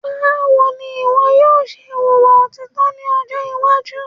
Báwo ní ìwọ yóò ṣe wùwà òtítọ́ ní ọjọ́ iwájú